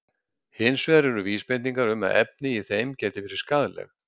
Hins vegar eru vísbendingar um að efni í þeim geti verið skaðleg.